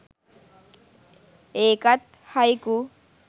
ඒකත් හයිකු